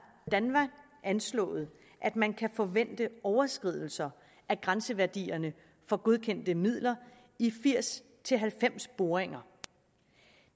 danmark anslået at man kan forvente overskridelser af grænseværdierne for godkendte midler i firs til halvfems boringer